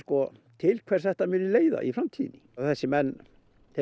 til hvers þetta muni leiða í framtíðinni þessir menn